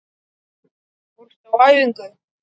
Fórstu á æfingu?